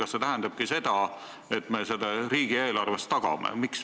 Kas see tähendab seda, et me selle riigieelarve rahaga tagame?